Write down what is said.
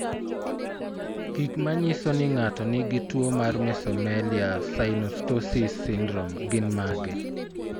Gik manyiso ni ng'ato nigi tuwo mar Mesomelia synostoses syndrome gin mage?